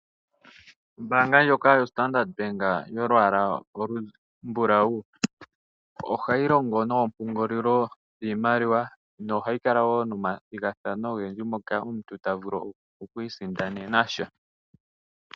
Ombaanga ndjoka yoStandard bank yolwaala olumbulawu ohayi longo noompungulilo dhiimaliwa nohayi kala woo nomathigathano ogendji ngoka omuntu ta vulu okwiisindanena sha.